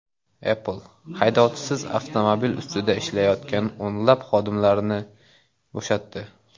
Apple haydovchisiz avtomobil ustida ishlayotgan o‘nlab xodimlarni bo‘shatdi.